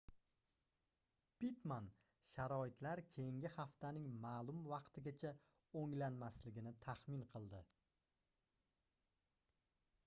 pittman sharoitlar keyingi haftaning maʼlum vaqtigacha oʻnglanmasligini taxmin qildi